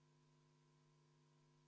V a h e a e g